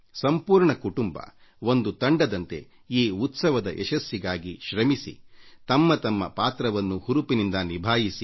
ಇಡೀ ಕುಟುಂಬ ಒಂದು ತಂಡದಂತೆ ಈ ಉತ್ಸವದ ಯಶಸ್ಸಿಗಾಗಿ ಶ್ರಮಿಸಿ ತಮ್ಮ ತಮ್ಮ ಪಾತ್ರವನ್ನು ಹುರುಪಿನಿಂದ ನಿಭಾಯಿಸಬೇಕು